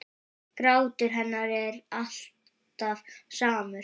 Grátur hennar er alltaf samur.